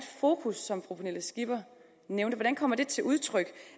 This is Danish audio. fokus som fru pernille skipper nævnte til udtryk